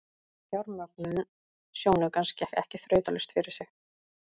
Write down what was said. Fjármögnun sjónaukans gekk ekki þrautalaust fyrir sig.